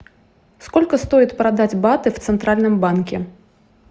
сколько стоит продать баты в центральном банке